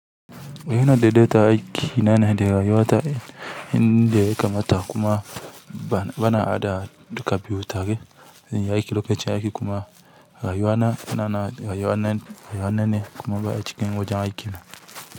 Eh ina daidaitan aiki nane da rayuwata inda yakamata kuma bana haɗa duka biyu tare aiki lokacin aiki kuma rayuwa na rayuwa nan rayuwa nane kuma ba a cikin wajen aiki ba.